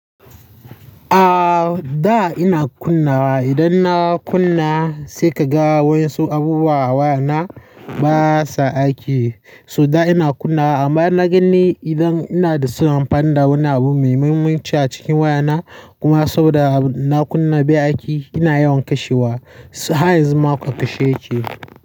A'a, da ina kunnawa. Idan na kunna sai ka ga wasu abubuwa wayana basa aiki. So da ina kunna amma na ganni idan ina da sunan amfani da wani abu mai mahimmanci a cikin wayana kuma saboda na kunna bai aiki ina yawan kashewa. Har yanzu ma a kashe yake.